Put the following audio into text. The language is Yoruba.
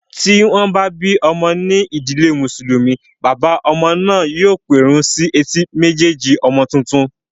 Tí wọ́n bá bí ọmọ ní ìdílé mùsùlùmí, bàbá ọmọ náà yóò pẹ̀run sí etí méjèèjì ọmọ tuntun